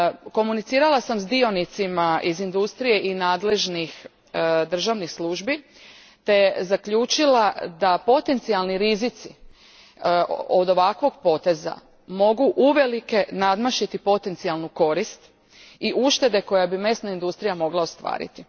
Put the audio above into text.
Komunicirala sam s dionicima iż industrije i nadležnih državnih službi te zaključila da potencijalni rizici od ovakvog poteza mogu uvelike nadmašiti potencijalnu korist i uštede koju bi mesna industrija mogla ostvariti.